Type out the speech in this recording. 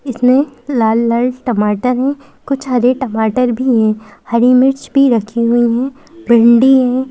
इसमें लाल-लाल टमाटर हैं कुछ हरे टमाटर भी हैं हरी मिर्च भी रखी हुई हैं--